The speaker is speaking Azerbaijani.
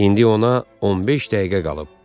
İndi ona 15 dəqiqə qalıb.